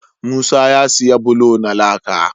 Musa ya siya bulo na laka